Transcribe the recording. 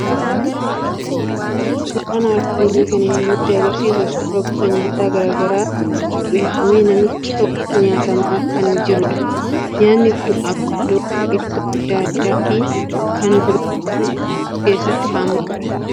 Suuraan armaan olii kan inni nutti argisiisu suuraa gosa nyaataa garaa garaa qopheeffamee namicha tokkoon nyaatamaa kan jirudha. Nyaatni kun avokaadoo, ittoo adda addaa fi kanneen biroo kan of keessatti hammatudha.